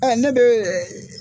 Ɔ Ne bɛ